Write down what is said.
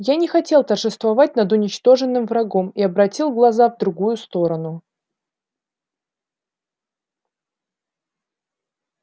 я не хотел торжествовать над уничтоженным врагом и обратил глаза в другую сторону